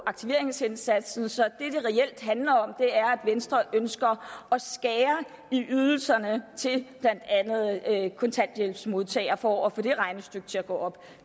aktiveringsindsatsen så reelt handler om er at venstre ønsker at skære i ydelserne til blandt andet kontanthjælpsmodtagere for at få det regnestykke til at gå op